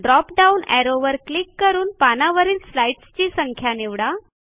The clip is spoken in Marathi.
ड्रॉप डाऊन ऍरोवर क्लिक करून पानावरील स्लाईडस्ची संख्या निवडा